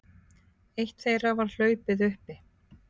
Eitt þeirra var hlaupið uppi